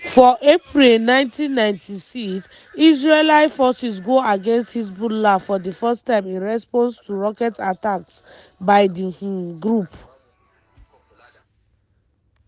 for april 1996 israeli forces go against hezbollah for di first time in response to rocket attacks by di um group.